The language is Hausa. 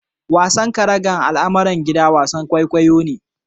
Wasan karaga almara gidan wasan kwaikwayo ne.